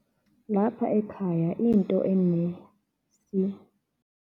Lapha ekhaya, into